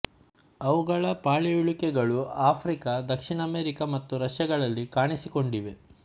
ಅವುಗಳ ಪಳೆಯುಳಿಕೆಗಳು ಆಫ್ರಿಕ ದಕ್ಷಿಣ ಅಮೆರಿಕ ಮತ್ತು ರಷ್ಯಗಳಲ್ಲಿ ಕಾಣಿಸಿಕೊಂಡಿವೆ